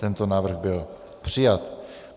Tento návrh byl přijat.